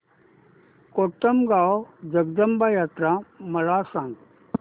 कोटमगाव जगदंबा यात्रा मला सांग